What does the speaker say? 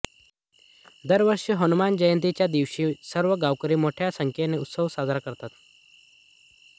दरवर्षी हनुमान जयंतीच्या दिवशी सर्व गांवकरी मोठ्या संख्येने उत्सव साजरा करतात